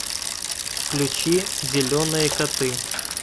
включи зеленые коты